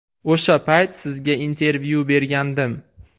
O‘sha payt sizga intervyu bergandim.